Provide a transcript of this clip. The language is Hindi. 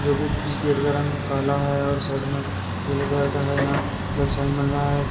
जो कि जिस गेट का रंग काला है और साइड में पीले कलर का है। यहां प्लस साइन बन रहा है।